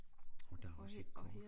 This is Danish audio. Og der er også